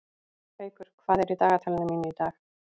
Haukur, hvað er í dagatalinu mínu í dag?